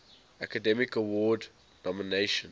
academy award nomination